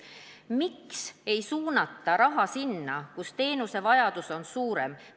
Miks ei suunata raha sinna, kus teenuse vajadus on suurem?